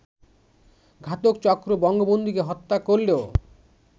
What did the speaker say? ঘাতকচক্র বঙ্গবন্ধুকে হত্যা করলেও